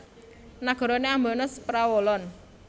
Nagarane ambane saprawolon